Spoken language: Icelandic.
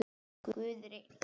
Guð er einn.